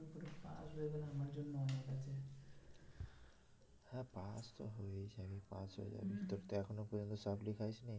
হ্যাঁ পাস তো হয়েই যাবি পাস হয়ে যাবি তোর তো এখনো পর্যন্ত supply খাসনি?